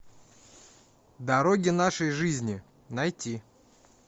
дороги нашей жизни найти